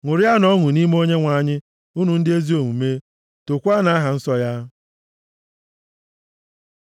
Ṅụrịanụ ọṅụ nʼime Onyenwe anyị, unu ndị ezi omume, tookwanụ aha nsọ ya.